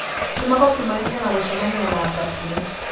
Kĩmako kiumanĩte na gũcemania na mbakĩ